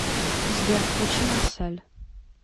сбер включи марсэль